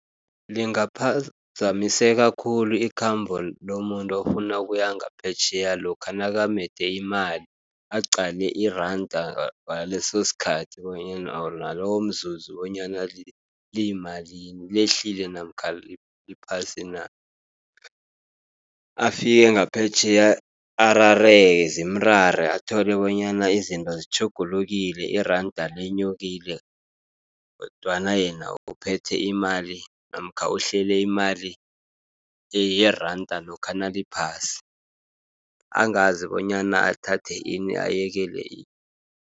Lingaphazamiseka khulu ikhambo lomuntu ofuna ukuya ngaphetjheya lokha nakamede imali, aqale iranda ngalesosikhathi bonyana nalowomzuzi bonyana liyimalini, lehlile namkha liphasi na. Afike ngaphetjheya arareke zimrare, athole bonyana izinto zitjhugulukile iranda lenyukile, kodwana yena uphethe imali namkha uhlele imali yeranda lokha naliphasi, angazi bonyana athathe ini, abayekele ini.